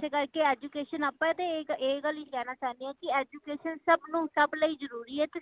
ਤੇ ਏਸੇ ਕਰਕੇ education ਆਪਾ ਤੇ ਇਹ ਗੱਲ ਹੀ ਕਹਿਣਾ ਚਾਉਂਦੇ ਹੈ education ਸਬ ਨੂੰ ਸਬ ਲਈ ਜਰੂਰੀ ਹੈ , ਤੇ